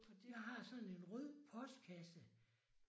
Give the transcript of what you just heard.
Jeg har sådan en rød postkasse